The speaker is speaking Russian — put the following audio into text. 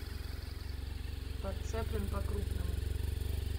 подцеплен по крупному